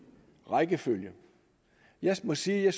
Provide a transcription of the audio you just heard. rækkefølge jeg må sige at